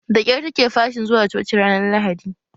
Da kyar take fashin zuwa coci ranar lahadi